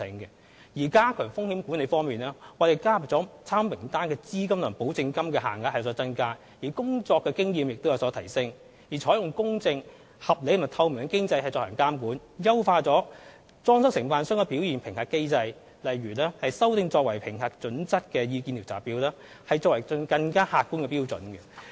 在加強風險管理方面，當局提高了欲加入參考名單的承辦商的資金及保證書的金額，以及工程經驗的要求，並採用公正、合理及透明的機制進行監管，以及優化裝修承辦商的表現評核機制，例如修訂作為評核準則的意見調查表，以提供更客觀的標準。